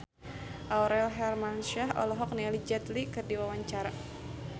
Aurel Hermansyah olohok ningali Jet Li keur diwawancara